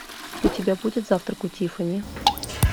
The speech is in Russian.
у тебя будет завтрак у тиффани